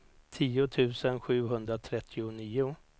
tio tusen sjuhundratrettionio